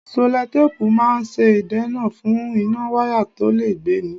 Sẹ́lótápùù ń máa ń ṣe ìdènà fún iná wáyà tó le gbé ni.